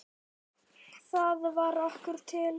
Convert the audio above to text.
Það varð okkur til happs.